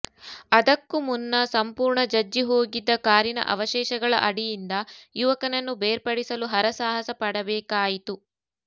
ಅದಕ್ಕೂ ಮುನ್ನ ಸಂಪೂರ್ಣ ಜಜ್ಜಿ ಹೋಗಿದ್ದ ಕಾರಿನ ಅವಶೇಷಗಳ ಅಡಿಯಿಂದ ಯುವಕನನ್ನು ಬೇರ್ಪಡಿಸಲು ಹರಸಾಹಸ ಪಡಬೇಕಾಯಿತು